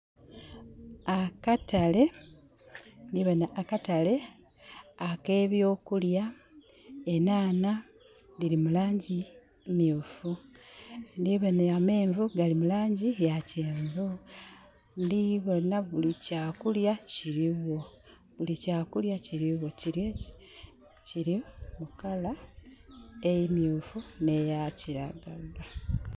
Akatale . Ndiboona akatale akebyo kulya. Enhaana diri mulangi myufu. Ndiboona amenvu gali mu langi ya kyenvu. ndiboona buli kya kulya kiriwo. Kiri mu color emyufu neya kiragala.